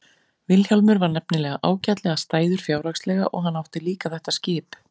Vilhjálmur var nefnilega ágætlega stæður fjárhagslega og hann átti líka þetta skip.